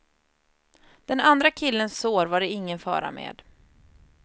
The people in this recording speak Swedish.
Den andra killens sår var det ingen fara med.